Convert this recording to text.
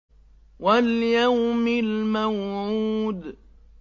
وَالْيَوْمِ الْمَوْعُودِ